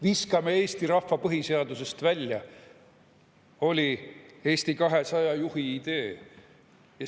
Viskame eesti rahva põhiseadusest välja, oli Eesti 200 juhi idee.